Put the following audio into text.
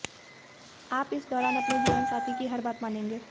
आप इस दौरान अपने जीवनसाथी की हर बात मानेंगे